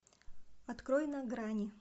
открой на грани